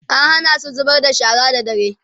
an Hana su zubar da shara da dare